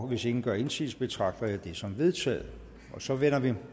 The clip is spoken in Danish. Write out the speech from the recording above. hvis ingen gør indsigelse betragter jeg det som vedtaget og så vender vi